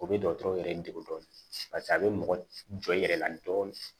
O bɛ dɔgɔtɔrɔ yɛrɛ degun dɔɔni paseke a bɛ mɔgɔ jɔ i yɛrɛ la dɔɔnin